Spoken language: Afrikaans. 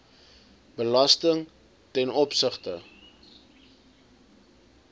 belasting ten opsigte